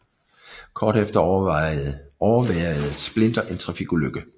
Kort efter overværede Splinter en trafikulykke